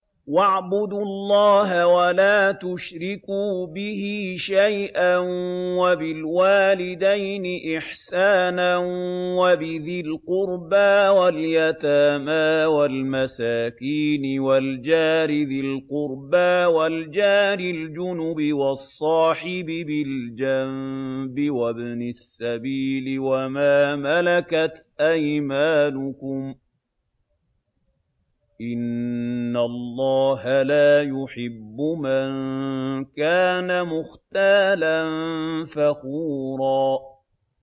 ۞ وَاعْبُدُوا اللَّهَ وَلَا تُشْرِكُوا بِهِ شَيْئًا ۖ وَبِالْوَالِدَيْنِ إِحْسَانًا وَبِذِي الْقُرْبَىٰ وَالْيَتَامَىٰ وَالْمَسَاكِينِ وَالْجَارِ ذِي الْقُرْبَىٰ وَالْجَارِ الْجُنُبِ وَالصَّاحِبِ بِالْجَنبِ وَابْنِ السَّبِيلِ وَمَا مَلَكَتْ أَيْمَانُكُمْ ۗ إِنَّ اللَّهَ لَا يُحِبُّ مَن كَانَ مُخْتَالًا فَخُورًا